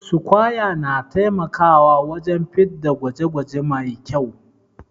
sukwaya na taimakawa wajen fitda gwaje gwaje Mai kyau